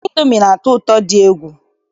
Indomi na-atọ ụtọ dị egwu